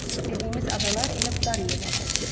Dediyimiz adalar elə bu dar yerlərdədir.